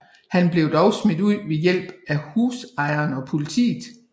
Han blev dog smidt ud ved hjælp af husejeren og politiet